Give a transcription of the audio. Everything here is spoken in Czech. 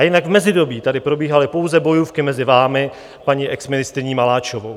A jinak v mezidobí tady probíhaly pouze bojůvky mezi vámi a paní exministryní Maláčovou.